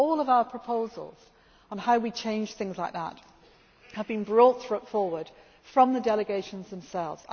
handling, too. So all of our proposals on how we change things like that have been brought forward from the delegations